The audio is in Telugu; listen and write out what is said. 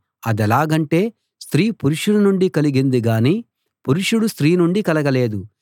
అదెలాగంటే స్త్రీ పురుషుని నుండి కలిగింది గాని పురుషుడు స్త్రీ నుండి కలగలేదు